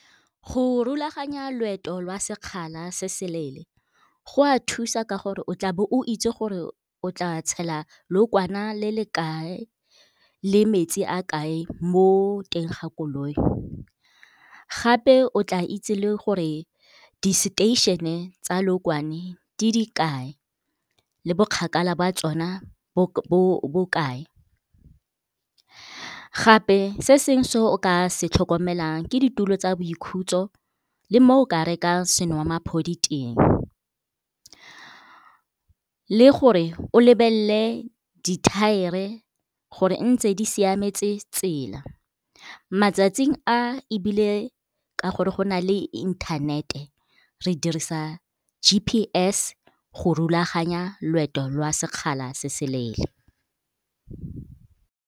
Go rulaganya loeto lwa sekgala se seleele go a thusa ka gore o tla be o itse gore o tla tshela lookwana le le kae, le metsi a kae mo teng ga koloi. Gape o tla itse le gore di seteišene tsa lookwane di dikae le bo kgakala jwa tsona bo bokae. Gape se sengwe se o ka se tlhokomelang ke ditulo tsa boikhutso le mo o ka rekang senwamaphodi teng, le gore o lebelele dithaere gore ntse di siametse tsela. Matsatsing a ebile ka gore go na le inthanete re dirisa G_P_S go rulaganya loeto lwa sekgala se se leele.